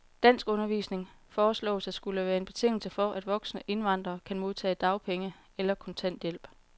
Danskundervisning foreslås at skulle være en betingelse for, at voksne indvandrere kan modtage dagpenge eller kontanthjælp.